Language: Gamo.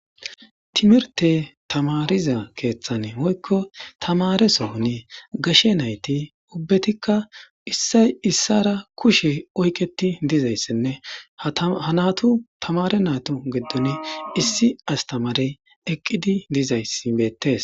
timirte tamariza keeththane hoykko tamaresooni gashe nayti ubbetikka issay issara kushe oyketi dizayssinne hanatu tamare natu geddon issi astamarey eqqidi dizayssi beettes